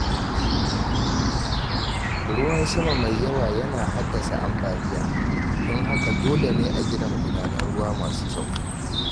Ruwan sama mai yawa yana haddasa ambaliya, don haka dole ne a gina magudanan ruwa masu kyau.